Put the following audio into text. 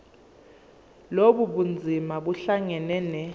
lobu bunzima buhlangane